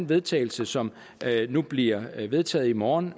vedtagelse som nu bliver vedtaget i morgen